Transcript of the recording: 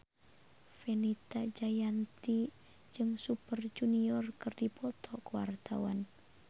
Fenita Jayanti jeung Super Junior keur dipoto ku wartawan